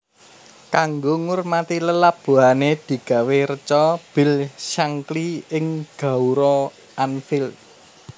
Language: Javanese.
Kanggo ngurmati lelabuhané digawé reca Bill Shankly ing gaoura Anfield